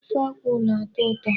Ofe akwụ na-atọ ụtọ.